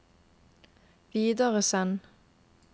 videresend